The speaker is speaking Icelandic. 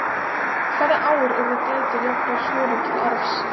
hvaða ár urðu dætur jafnar sonum til arfs